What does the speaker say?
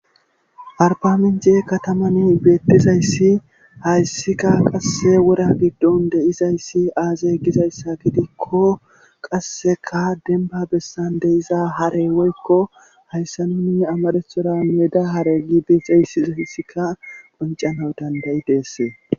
Arbaminc'e kataman beettizayssi hayssika qasse wora giddon de7izayssi aazey gizayssa gidikko qasseka denba bessan de'iza hare woykko hayssa nuni amadethora meeda hare gibixahissiza hayssika qoncana dandayi deessee